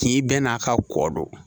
K'i bɛɛ n'a ka kɔ don